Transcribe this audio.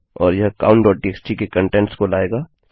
और यह countटीएक्सटी के कंटेंट्स को लाएगा